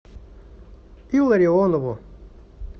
илларионову